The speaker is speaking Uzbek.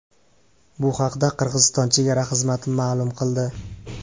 Bu haqda Qirg‘iziston chegara xizmati ma’lum qildi .